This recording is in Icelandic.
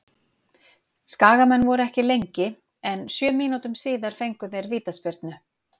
Skagamenn voru ekki lengi en sjö mínútum síðar fengu þeir vítaspyrnu.